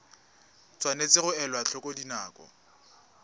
tshwanetse ga elwa tlhoko dinako